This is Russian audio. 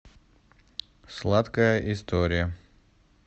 сладкая история